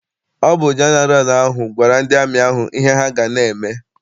Ọ bụ jeneral ahụ gwara ndị amị ahụ ihe ha n'eme.